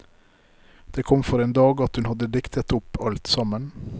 Det kom for en dag at hun hadde diktet opp alt sammen.